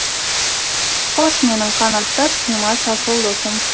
қош менің қанаттас қимас асыл досым